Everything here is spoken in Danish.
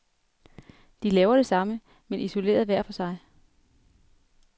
De laver det samme, men isoleret hver for sig.